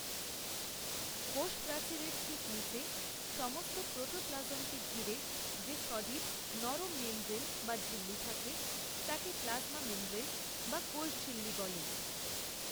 কোষ প্রাচীরের ঠিক নিচে সমস্ত প্রোটোপ্লাজমকে ঘিরে যে সজীব নরম মেমব্রেন বা ঝিল্লি থাকে তাকে প্লাজমা মেমব্রেন বা কোষঝিল্লি বলে।